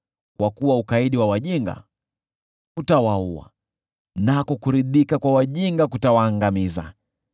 Kwa kuwa ukaidi wa wajinga utawaua, nako kuridhika kwa wajinga kutawaangamiza.